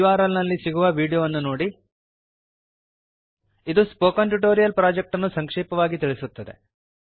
httpspoken tutorialorgWhat is a spoken tutorial ಇದು spoken tutorial project ಅನ್ನು ಸಂಕ್ಷೇಪವಾಗಿ ತಿಳಿಸುತ್ತದೆ